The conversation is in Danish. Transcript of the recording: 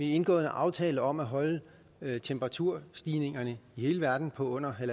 indgået en aftale om at holde temperaturstigningerne i hele verden på under